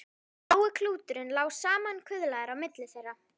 Blái klúturinn lá samankuðlaður á milli þeirra.